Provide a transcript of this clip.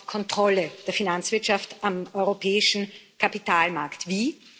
Es braucht Kontrolle der Finanzwirtschaft am europäischen Kapitalmarkt. Wie?